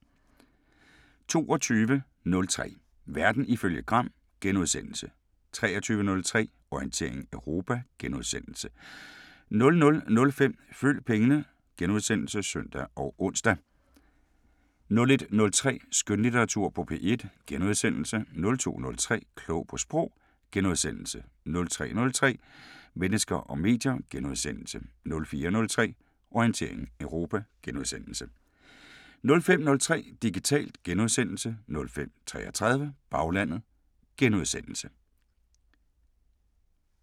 22:03: Verden ifølge Gram * 23:03: Orientering Europa * 00:05: Følg pengene *(søn og ons) 01:03: Skønlitteratur på P1 * 02:03: Klog på Sprog * 03:03: Mennesker og medier * 04:03: Orientering Europa * 05:03: Digitalt * 05:33: Baglandet *